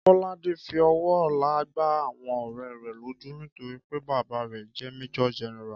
Kọ́ládé fí owó ọlá gbà awọn ọ̀rẹ́ rẹ̀ lójú nítorí pé bàbá rè jé Májòr Générà